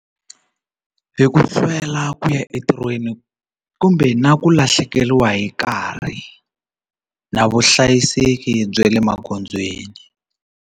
Hi ku sivela ku ya entirhweni kumbe na ku lahlekeriwa hi nkarhi na vuhlayiseki bya le magondzweni.